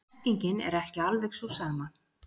Merkingin er ekki alveg sú sama.